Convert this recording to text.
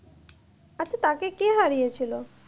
আচ্ছা তাকে কে হারিয়েছিল?